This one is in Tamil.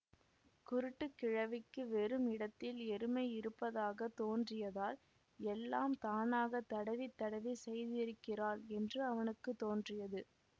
குருட்டுக் கிழவிக்கு வெறும் இடத்தில் எருமையிருப்பதாகத் தோன்றியதால் எல்லாம் தானாகத் தடவி தடவி செய்திருக்கிறாள் என்று அவனுக்கு தோன்றியது